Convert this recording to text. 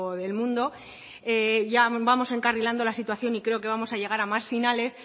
del mundo ya vamos encarrilando la situación y creo que vamos a llegar a más finales